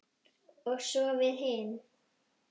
Og svo við hin.